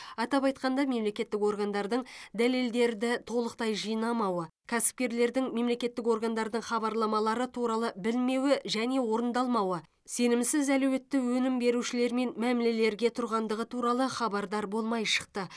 атап айтқанда мемлекеттік органдардың дәделдерді толықтай жинамауы кәсіпкерлердің мемлекеттік органдардың хабарламары туралы білмеуі және орындалмауы сенімсіз әлеуетті өнім берушілер мен мәмілелерге тұрғандығы туралы хабардар болмай шықты